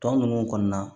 Tɔ ninnu kɔni na